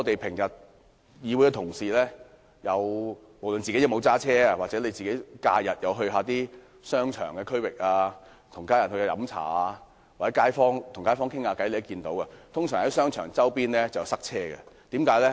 不論議會同事有否駕車，他們在假日到商場附近、與家人飲茶或與街坊交談便會知道，商場周邊總會塞車。